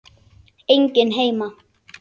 Enginn heima.